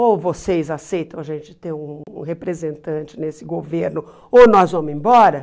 Ou vocês aceitam a gente ter um um representante nesse governo, ou nós vamos embora.